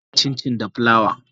Ana yin Cincin da plawa.